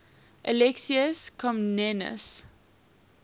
alexius comnenus